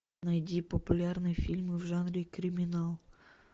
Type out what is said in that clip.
найди популярные фильмы в жанре криминал